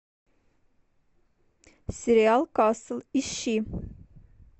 сериал касл ищи